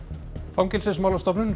Fangelsismálastofnun